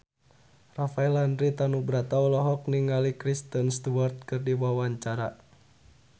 Rafael Landry Tanubrata olohok ningali Kristen Stewart keur diwawancara